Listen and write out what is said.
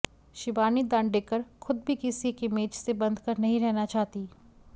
शिबानी दांडेकर खुद भी किसी एक इमेज से बंध कर नहीं रहना चाहती